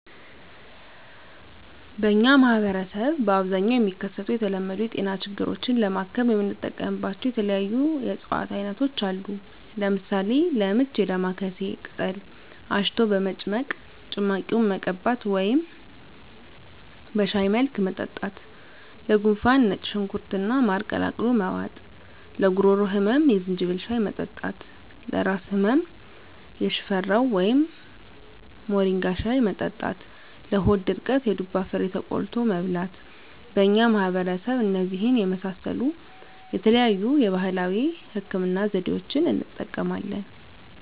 በእኛ ማህበረሰብ በአብዛኛው የሚከሰቱ የተለመዱ የጤና ችግሮችን ለማከም የምንጠቀምባቸው የተለያዩ የእፅዋት አይነቶች አሉ። ለምሳሌ፦ -ለምች የዳማካሴ ቅጠል አሽቶ በመጭመቅ ጭማቂውን መቀባት ወደም በሻይ መልክ መጠጣት -ለጉንፋን ነጭ ሽንኩርት እና ማር ቀላቅሎ መዋጥ -ለጉሮሮ ህመም የዝንጅብል ሻይ መጠጣት -ለራስ ህመም የሽፈራው ወይም ሞሪንጋ ሻይ መጠጣት -ለሆድ ድርቀት የዱባ ፍሬ ተቆልቶ መብላት በእኛ ማህበረሰብ እነዚህን የመሳሰሉ የተለያዩ የባህላዊ ህክምና ዘዴዋችን እንጠቀማለን።